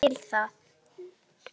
Og ég skil það.